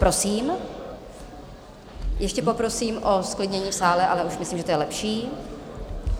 Prosím - ještě poprosím o zklidnění v sále, ale už myslím, že to je lepší.